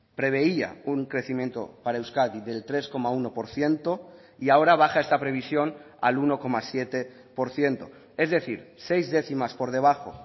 preveía un crecimiento para euskadi del tres coma uno por ciento y ahora baja esta previsión al uno coma siete por ciento es decir seis décimas por debajo